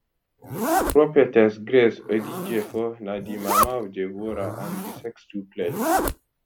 prophetess grace odjiefo na di mama of deborah and di sextuplets